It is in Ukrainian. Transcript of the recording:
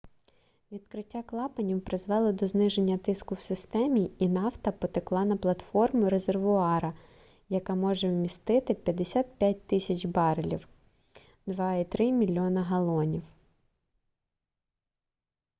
відкриття клапанів призвело до зниження тиску в системі і нафта потекла на платформу резервуара яка може вмістити 55 000 барелів 2,3 мільйона галонів